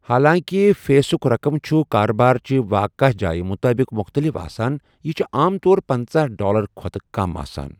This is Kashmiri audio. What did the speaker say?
حالانٛکہِ فیٖسٕٗك رَقم چھٗ کاربار چہِ واقع جایہِ مُطٲبِق مُختٔلِف آسان، یہِ چُھ عام طورپنژاہ ڈالرٕ کھۄتہٕ کَم آسان۔